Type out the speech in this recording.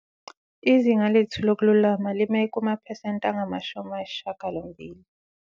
Izinga lethu lokululama lime kumaphesenti angama-80.